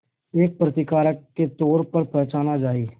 एक प्रतिकारक के तौर पर पहचाना जाए